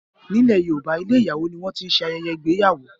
ní ilè yorùbá ilé ìyàwó ní wón tí ṣe ayẹyẹ ìgbéyàwó.